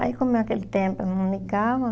Aí, como é aquele tempo, eu não ligava,